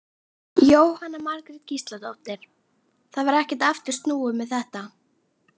Jóhanna Margrét Gísladóttir: Það var ekkert aftur snúið með þetta?